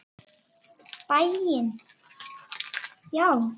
Í bæinn, já!